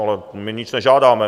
Ale my nic nežádáme.